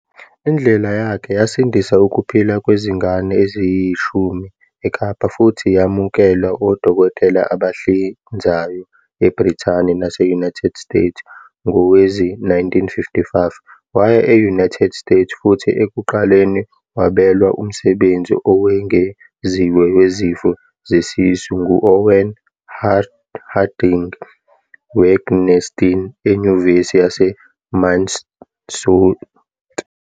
Indlela yakhe yasindisa ukuphila kwezingane eziyishumi eKapa futhi yamukelwa odokotela abahlinzayo eBrithani nase-United States. Ngowezi-1955, waya e-United States futhi ekuqaleni wabelwa umsebenzi owengeziwe wezifo zesisu ngu-Owen Harding Wangensteen eNyuvesi yase Minnesota.